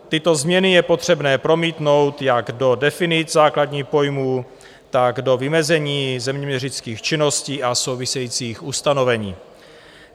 Tyto změny je potřebné promítnout jak do definic základních pojmů, tak do vymezení zeměměřických činností a souvisejících ustanovení.